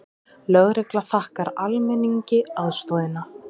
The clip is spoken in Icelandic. Lögregla þakkar almenningi aðstoðina